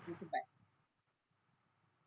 ठीक आहे बाय